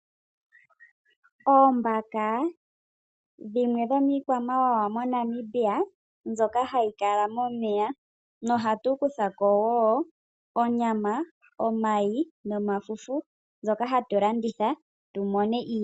Oombaka dhimwe dhomiikwamawawa moNamibia, mbyoka ha yi kala momeya, noha tu kutha ko woo onyamam, omayi, nomafufu ngoka ha tu landitha tu mone ii.